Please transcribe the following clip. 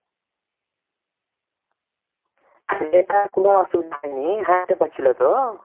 তালে তো আর কোনো অসুবিধা নেই হ্যাঁটতে পারছিল তো